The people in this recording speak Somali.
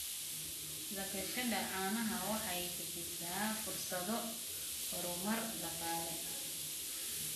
Dhaqashada caanaha waxay bixisaa fursado horumar dhaqaale.